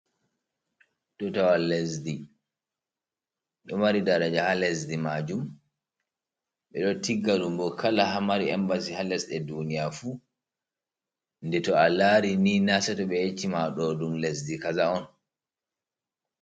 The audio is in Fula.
Tutawal lesdi ɗomari daraja ha lesdi majum, ɓeɗo tisga ɗum bo kala ha mari embasi ha lesɗe duniya fu, nde to a lari ni na sato be yacci ma ɗo ɗun lesdi kaza’on.